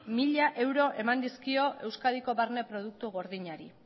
euro eman dizkio euskadiko barne produktu gordinari